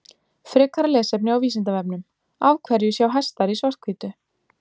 Frekara lesefni á Vísindavefnum Af hverju sjá hestar í svart-hvítu?